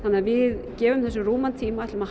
við gefum þessu rúman tíma og